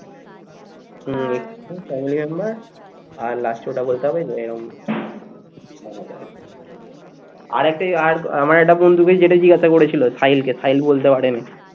আরেকটা আর আমার একটা বন্ধুকে যেটা জিজ্ঞাসা করেছিল সাহিলকে সাহিল বলতে পারেনি